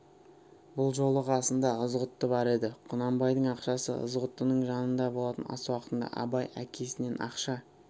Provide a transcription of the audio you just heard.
бұл жолы қасында ызғұтты бар еді құнанбайдың ақшасы ызғұттының жанында болатын ас уақытында абай әкесінен ақша